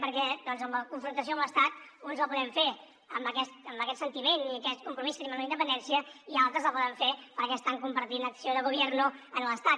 perquè doncs la confrontació amb l’estat uns la podem fer amb aquest sentiment i aquest compromís que tenim amb la independència i altres la poden fer perquè estan compartint acció de gobierno amb l’estat